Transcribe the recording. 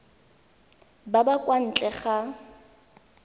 ba ba kwa ntle ga